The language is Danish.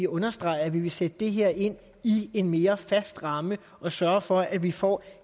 understrege at vi vil sætte det her ind i en mere fast ramme og sørge for at vi får